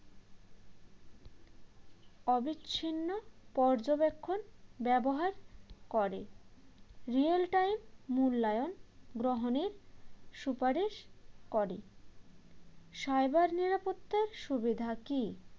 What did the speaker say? অবিচ্ছিন্ন পর্যবেক্ষণ ব্যবহার করে real time মূল্যায়ন গ্রহণের সুপারিশ করে cyber নিরাপত্তার সুবিধা কী?